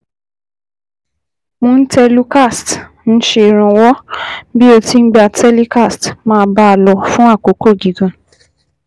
cs] Montelucast ń ṣèrànwọ́ bí o ti ń gba telecast, máa bá a lọ fún àkókò gígùn